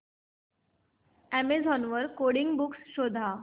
Amazon वर coding books शोधा